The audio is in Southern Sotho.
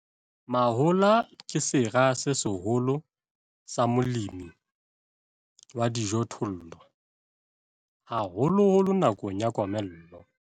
Mahola ke sera se seholo sa molemi wa dijothollo, haholoholo nakong ya komello.